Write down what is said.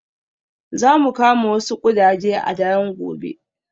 Za mu kama wasu ƙudaje a daren gobe.